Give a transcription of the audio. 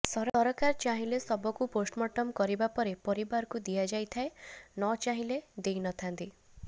ସରକାର ଚାହିଁଲେ ଶବକୁ ପୋଷ୍ଟମୋର୍ଟମ କରିବା ପରେ ପରିବାରକୁ ଦିଆଯାଇଥାଏ ନ ଚାହିଁଲେ ଦେଇନଥାନ୍ତି